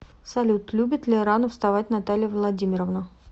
салют любит ли рано вставать наталья владимировна